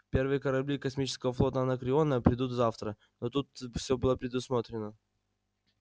первые корабли космического флота анакреона придут завтра но тут всё будет предусмотрено